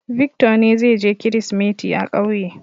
Victor ne zai je Kirsimeti a ƙauye.